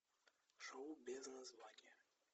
шоу без названия